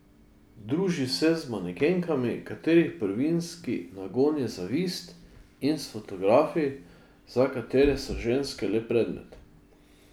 Druži se z manekenkami, katerih prvinski nagon je zavist, in s fotografi, za katere so ženske le predmeti.